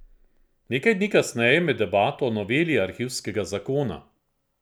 Nekaj dni kasneje med debato o noveli arhivskega zakona.